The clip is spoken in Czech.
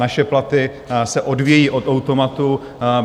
Naše platy se odvíjejí od automatu.